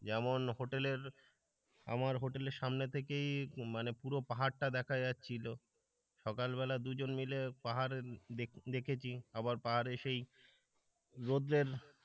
যেমন হোটেলের আমার হোটেলের সামনে থেকেই মানে পুরো পাহাড়টা দেখা যাচ্ছিল। সকাল বেলা দুজন মিলে পাহাড় দেখেছি আবার পাহাড়ে সেই রোদের,